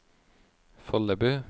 Follebu